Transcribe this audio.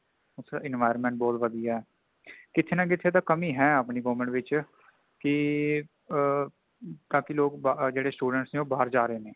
ਉੱਥੇ environment ਬਹੁਤ ਵਧੀਆ ਹੈ ਕਿਥੇ ਨਾ ਕਿਥੇ ਤਾ ਕਮੀ ਹੈ ਅਪਣੀ government ਵਿਚ ਕਿ ਆ ਕਾਫੀ ਲੋਕ ਜਿਹੜੇ student ਨੇ ਉਹ ਬਾਹਰ ਜਾ ਰਹੇ ਨੇ